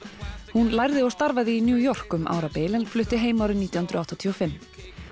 hún lærði og starfaði í New York um árabil en flutti heim árið nítján hundruð áttatíu og fimm